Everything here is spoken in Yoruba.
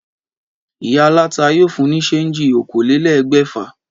Ìyá aláta yóò fún ní séènjì okòólélégbèfà